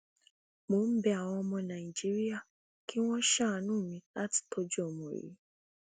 mo ń bẹ àwọn ọmọ nàìjíríà kí wọn ṣàánú mi láti tọjú ọmọ yìí